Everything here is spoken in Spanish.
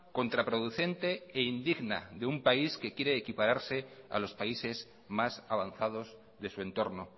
contraproducente e indigna de un país que quiere equipararse a los países más avanzados de su entorno